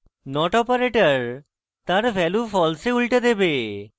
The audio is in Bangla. কিন্তু not operator তার value false এ উল্টে দেবে